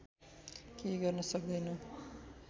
केही गर्न सक्दैन